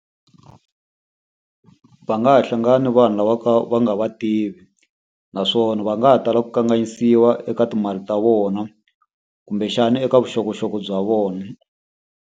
Va nga ha hlangana ni vanhu lava ka va nga va tivi. Naswona va nga ha tala ku kanganyisiwa eka timali ta vona, kumbexana eka vuxokoxoko bya vona.